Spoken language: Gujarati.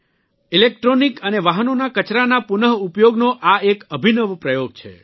ઇલેક્ટ્રોનિક અને વાહનોના કચરાના પુનઃ ઉપયોગનો આ એક અભિનવ પ્રયોગ છે